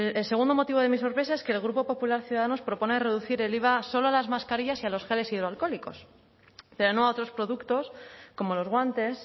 el segundo motivo de mi sorpresa es que el grupo popular ciudadanos propone reducir el iva solo a las mascarillas y a los geles hidroalcohólicos pero no a otros productos como los guantes